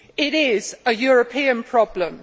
It is a European problem.